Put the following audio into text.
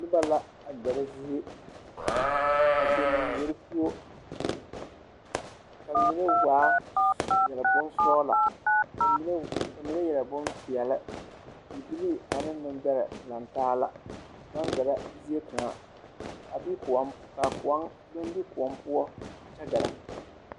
Noba la a ɡɛrɛ zie a kpɛ manɡbori poɔ ka mine waa yɛre bonsɔɡelɔ ka mine yɛre bompeɛle bibilii ane nembɛrɛ lantaa la baŋ ɡɛrɛ zie kaŋa a be kõɔ poɔ a kyɛ ɡɛrɛ.